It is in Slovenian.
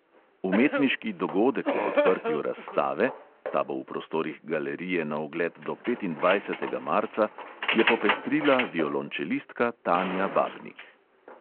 Umetniški dogodek ob odprtju razstave – ta bo v prostorih galerije na ogled do petindvajsetega marca – je popestrila violončelistka tanja babnik.